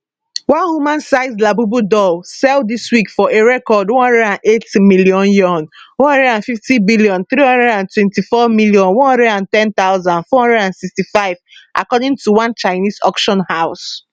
one humansized labubu doll sell dis week for a record 108m yuan 150324 110465 according to one chinese auction house